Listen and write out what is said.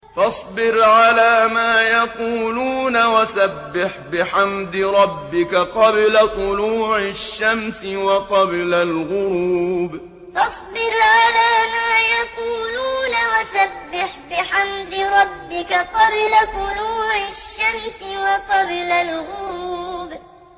فَاصْبِرْ عَلَىٰ مَا يَقُولُونَ وَسَبِّحْ بِحَمْدِ رَبِّكَ قَبْلَ طُلُوعِ الشَّمْسِ وَقَبْلَ الْغُرُوبِ فَاصْبِرْ عَلَىٰ مَا يَقُولُونَ وَسَبِّحْ بِحَمْدِ رَبِّكَ قَبْلَ طُلُوعِ الشَّمْسِ وَقَبْلَ الْغُرُوبِ